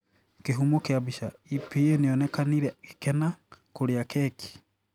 Kihumo kia bica, EPA Nionikanire gekena kũria keki